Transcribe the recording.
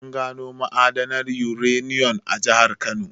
An gano ma'adanin uranium a jahar Kano.